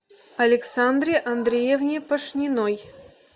александре андреевне пашниной